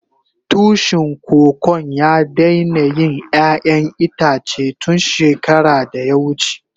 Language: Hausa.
Tushin Kokon ya daina yin ƴayan itace tun shekara da ya wuce.